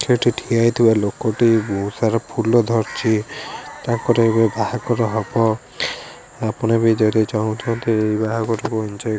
ସେଠି ଠିଆ ହେଇଥିବା ଲୋକ ଟି ବହୁତ ସାରା ଫୁଲ ଧରିଚି ତା ପରେ ଏବେ ବାହାଘର ହବ ଆପଣ ବି ଯଦି ଚାହୁଁଚନ୍ତି ଏଇ ବାହାଘର କୁ ଏଞ୍ଜୟ୍ ।